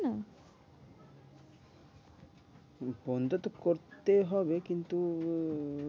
বন্ধ তো করতে হবে কিন্তু